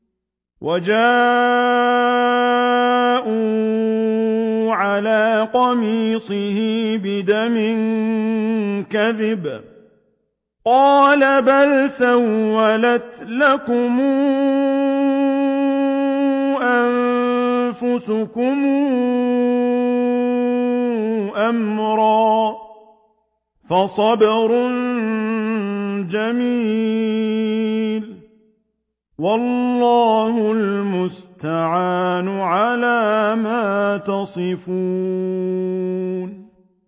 وَجَاءُوا عَلَىٰ قَمِيصِهِ بِدَمٍ كَذِبٍ ۚ قَالَ بَلْ سَوَّلَتْ لَكُمْ أَنفُسُكُمْ أَمْرًا ۖ فَصَبْرٌ جَمِيلٌ ۖ وَاللَّهُ الْمُسْتَعَانُ عَلَىٰ مَا تَصِفُونَ